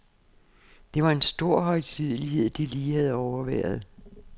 Det var en stor højtidelighed, de lige havde overværet.